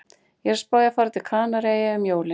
Ég er að spá í að fara til Kanaríeyja um jólin